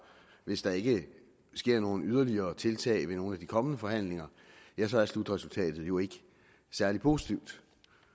hvis der ikke sker nogen yderligere tiltag ved nogle af de kommende forhandlinger ja så er slutresultatet jo ikke særlig positivt